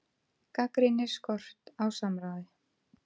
Gagnrýnir skort á samráði